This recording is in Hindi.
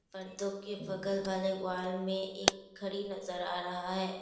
पर्दो के बगल वाले वाल में एक घड़ी नजर आ रहा है।